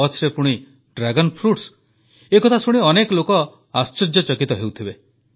କଚ୍ଛରେ ପୁଣି dragon fruits ଏକଥା ଶୁଣି ଅନେକ ଲୋକ ଆଶ୍ଚର୍ଯ୍ୟାନ୍ୱିତ ହେଉଛନ୍ତି